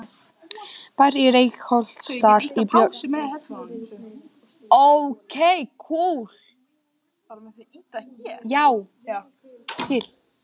Bær í Reykholtsdal í Borgarfjarðarsýslu.